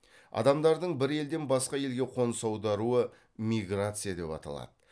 адамдардың бір елден басқа елге қоныс аударуы миграция деп аталады